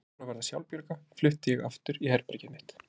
Þegar ég fór að verða sjálfbjarga flutti ég aftur í herbergið mitt.